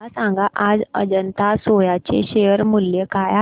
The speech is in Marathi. मला सांगा आज अजंता सोया चे शेअर मूल्य काय आहे